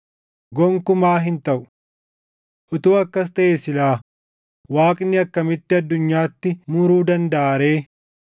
Gonkumaa hin taʼu! Utuu akkas taʼee silaa Waaqni akkamitti addunyaatti muruu dandaʼa ree?